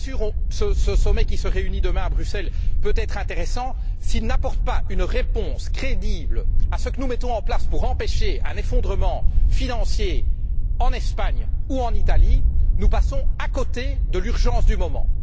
Bien sûr, ce sommet qui se réunit demain à Bruxelles peut être intéressant, mais s'il n'apporte pas une réponse crédible à ce que nous mettons en place pour empêcher un effondrement financier en Espagne ou en Italie, nous passons à côté de l'urgence du moment.